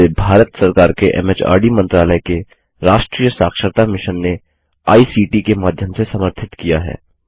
जिसे भारत सरकार के एमएचआरडी मंत्रालय के राष्ट्रीय साक्षरता मिशन ने आई सीटी के माध्यम से समर्थित किया है